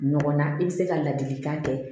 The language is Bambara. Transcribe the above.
Ɲɔgɔnna i bɛ se ka ladilikan kɛ